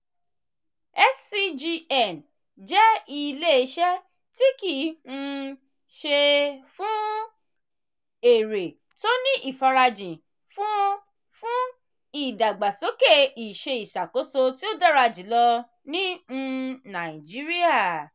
scgn jẹ́ ilé-iṣẹ́ tí kìí um ṣe-fún-èrè tó ní ìfarajìn fún fún ìdàgbàsókè ìṣe ìṣàkóso tí ó dára jùlọ ní um nàìjíríà.